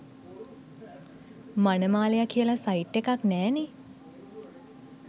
මනමාලයා කියලා සයිට් එකක් නෑනේ.